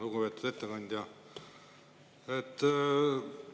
Lugupeetud ettekandja!